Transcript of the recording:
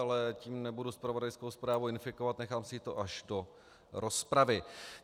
Ale tím nebudu zpravodajskou zprávu infikovat, nechám si to až do rozpravy.